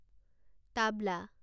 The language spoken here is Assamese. তাবলা